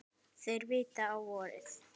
Þeir vita á vorið.